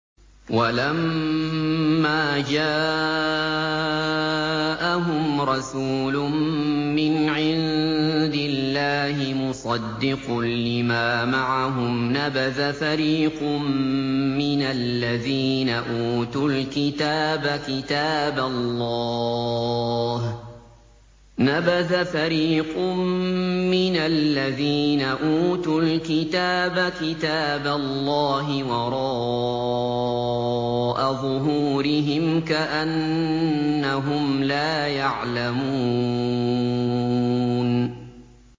وَلَمَّا جَاءَهُمْ رَسُولٌ مِّنْ عِندِ اللَّهِ مُصَدِّقٌ لِّمَا مَعَهُمْ نَبَذَ فَرِيقٌ مِّنَ الَّذِينَ أُوتُوا الْكِتَابَ كِتَابَ اللَّهِ وَرَاءَ ظُهُورِهِمْ كَأَنَّهُمْ لَا يَعْلَمُونَ